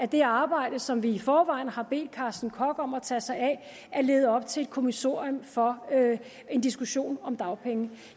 det arbejde som vi i forvejen har bedt carsten koch om at tage sig af lede op til et kommissorium for en diskussion om dagpengene